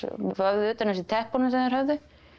vöfðu utan um sig teppunum sem þeir höfðu